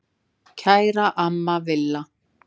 Kæra amma Villa.